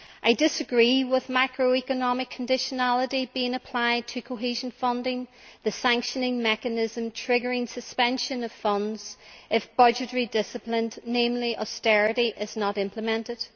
I disagree with macroeconomic conditionality being applied to cohesion funding, which is the sanctioning mechanism triggering suspension of funds if budgetary discipline, namely austerity, is not implemented.